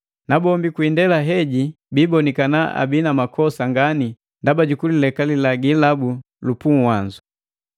nabombi kwi indela heji biibonikana abii na makosa ngani ndaba jukulileka lilagi labu lu puuwanzu.